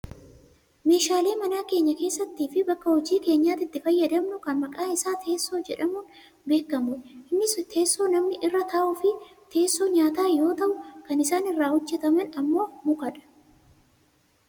Meeshalee mana keenya keessattii fi bakka hojii keenyaatti itti fayyadamnu kan maqaan isaa teessoo jedhamuun beekkamudha. innis teessoo namni irra taa'uufi teessoo nyaata yoo ta'u kan isaan irraa hojjataman ammoo mukadha.